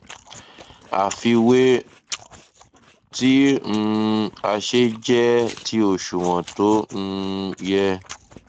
àfiwé tí um a ṣe jẹ ti òṣùwọn tó um yẹ